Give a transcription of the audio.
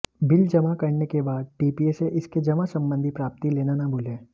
bill जमा करने के बाद टीपीए से इसके जमा संबंधी प्राप्ति लेना न भूलें